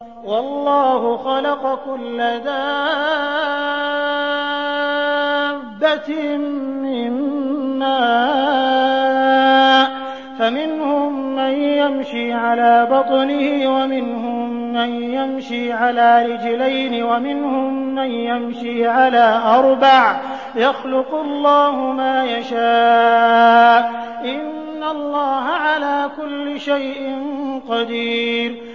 وَاللَّهُ خَلَقَ كُلَّ دَابَّةٍ مِّن مَّاءٍ ۖ فَمِنْهُم مَّن يَمْشِي عَلَىٰ بَطْنِهِ وَمِنْهُم مَّن يَمْشِي عَلَىٰ رِجْلَيْنِ وَمِنْهُم مَّن يَمْشِي عَلَىٰ أَرْبَعٍ ۚ يَخْلُقُ اللَّهُ مَا يَشَاءُ ۚ إِنَّ اللَّهَ عَلَىٰ كُلِّ شَيْءٍ قَدِيرٌ